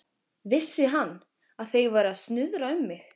Vissi hann, að þeir væru að snuðra um mig?